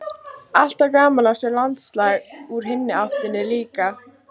Alltaf gaman að sjá landslag úr hinni áttinni líka.